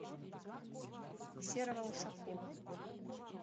серого ушакова